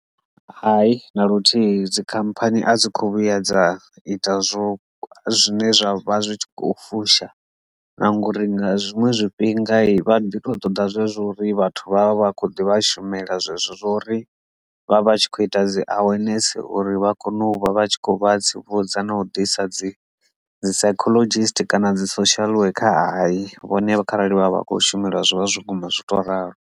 Hai, na luthihi dzikhamphani a dzi kho vhuya dza ita zwo zwine zwa vha zwi tshi kho fusha na ngori nga zwiṅwe zwifhinga vha ḓi to ṱoḓa zwezwo uri vhathu vha vha vha kho ḓivha shumela zwezwo zwa uri vha vha tshi kho ita dzi awareness uri vha kone u vha vha tshi kho vha tsivhudza na u ḓisa dzi dzi psychologist kana dzi social worker hayi vhone vha kharali vha vha vha kho shumelwa zwivha zwo guma zwi to ralo.